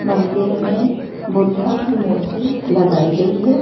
मंदिर में बुद्ध की मूर्ति लगाई गई है।